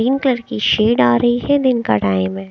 Colour की shade आ रही है दिन का टाइम हैं।